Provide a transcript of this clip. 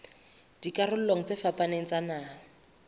dikarolong tse fapaneng tsa naha